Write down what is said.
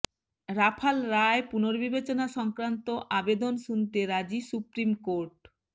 Rafale রায় পুনর্বিবেচনা সংক্রান্ত আবেদন শুনতে রাজি সুপ্রিম কোর্ট